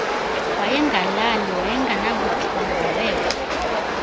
wayengalali wayengenabuthongo weva